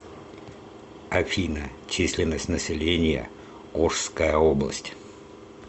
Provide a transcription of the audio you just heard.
афина численность населения ошская область